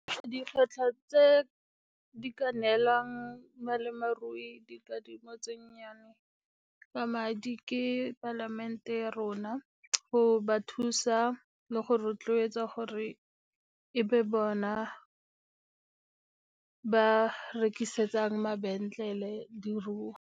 Dikgwetlho tse di ka neelang dikadimo tse nnyane ka madi ke palamente ya rona go ba thusa le go rotloetsa gore e be bona ba rekisetsang mabenkele diruo.